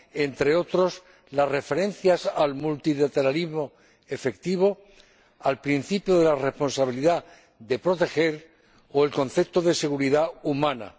Entre otras, las referencias al multilateralismo efectivo, al principio de la responsabilidad de proteger o al concepto de seguridad humana.